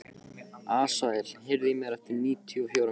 Asael, heyrðu í mér eftir níutíu og fjórar mínútur.